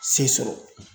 Se sɔrɔ